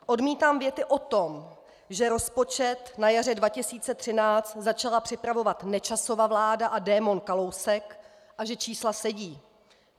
Odmítám věty o tom, že rozpočet na jaře 2013 začala připravovat Nečasova vláda a démon Kalousek a že čísla sedí.